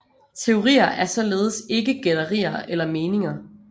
Teorier er således ikke gætterier eller meninger